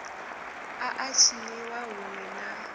a a tshiniwa huṋwe na